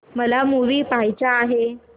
मला मूवी पहायचा आहे